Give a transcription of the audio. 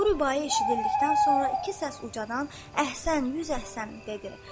Bu rübai eşidildikdən sonra iki səs ucadan “əhsən, yüz əhsən!” dedi.